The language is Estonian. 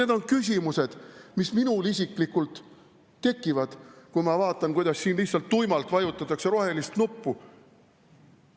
Need on küsimused, mis minul isiklikult tekivad, kui ma vaatan, kuidas siin lihtsalt tuimalt vajutatakse rohelist nuppu.